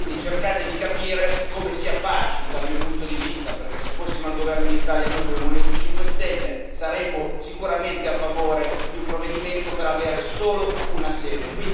Quindi cercate di capire come sia facile, dal mio punto di vista, perché se fossimo al governo in Italia, noi, come Movimento 5 Stelle, saremmo sicuramente a favore di un provvedimento per avere solo una sede.